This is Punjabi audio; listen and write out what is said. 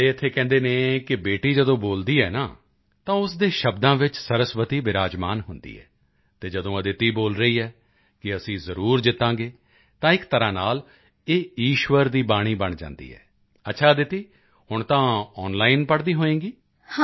ਸਾਡੇ ਇੱਥੇ ਕਹਿੰਦੇ ਹਨ ਕਿ ਬੇਟੀ ਜਦੋਂ ਬੋਲਦੀ ਹੈ ਨਾ ਤਾਂ ਉਸ ਦੇ ਸ਼ਬਦਾਂ ਵਿੱਚ ਸਰਸਵਤੀ ਬਿਰਾਜਮਾਨ ਹੁੰਦੀ ਹੈ ਅਤੇ ਜਦੋਂ ਅਦਿਤਿ ਬੋਲ ਰਹੀ ਹੈ ਕਿ ਅਸੀਂ ਜ਼ਰੂਰ ਜਿੱਤਾਂਗੇ ਤਾਂ ਇੱਕ ਤਰ੍ਹਾਂ ਨਾਲ ਇਹ ਈਸ਼ਵਰ ਦੀ ਬਾਣੀ ਬਣ ਜਾਂਦੀ ਹੈ ਅੱਛਾ ਅਦਿਤਿ ਹੁਣ ਤਾਂ ਆਨਲਾਈਨ ਪੜ੍ਹਦੀ ਹੋਵੇਂਗੀ